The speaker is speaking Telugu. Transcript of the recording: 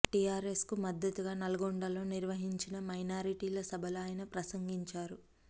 టీఆర్ఎస్ కు మద్దతుగా నల్లగొండలో నిర్వహించిన మైనార్టీల సభలో ఆయన ప్రసంగించారు